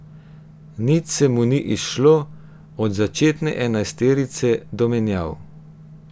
Nič se mu ni izšlo, od začetne enajsterice do menjav.